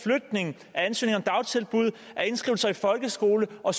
flytning af ansøgning om dagtilbud af indskrivelse i folkeskolen og